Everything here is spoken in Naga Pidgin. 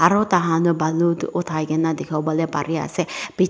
Aro taikhan toh balu toh uthai kena dekhibole pari ase piche--